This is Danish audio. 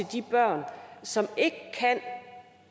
de børn som ikke kan